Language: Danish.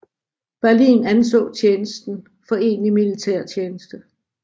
Berlin anså tjenesten for egentlig militærtjeneste